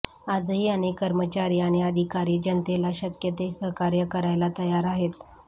आजही अनेक कर्मचारी आणि अधिकारी जनतेला शक्यते सहकार्य करायला तयार आहेत